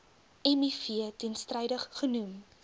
miv teenstrydig genoem